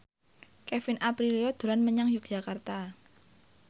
Kevin Aprilio dolan menyang Yogyakarta